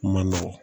Kuma nɔgɔn